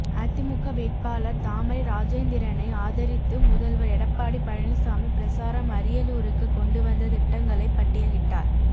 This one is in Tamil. அதிமுக வேட்பாளர் தாமரை ராஜேந்திரனை ஆதரித்து முதல்வர் எடப்பாடி பழனிசாமி பிரசாரம் அரியலூருக்கு கொண்டு வந்த திட்டங்களை பட்டியலிட்டார்